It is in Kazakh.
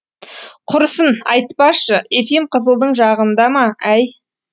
құрысын айтпашы ефим қызылдың жағында ма әй